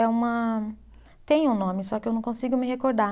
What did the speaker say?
É uma. Tem um nome, só que eu não consigo me recordar.